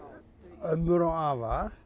ömmur og afa